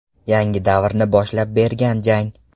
Yangi davrni boshlab bergan jang.